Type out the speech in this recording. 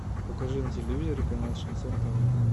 покажи на телевизоре канал шансон тв